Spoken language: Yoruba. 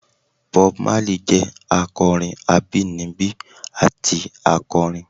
Bob Marley jẹ akọrin abinibi ati akọrin.